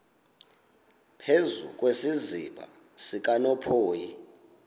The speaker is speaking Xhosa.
phezu kwesiziba sikanophoyi